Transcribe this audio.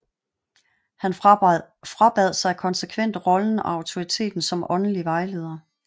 Han frabad sig konsekvent rollen og autoriteten som åndelig vejleder